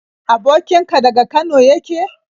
Abokin ka daga Kano yake?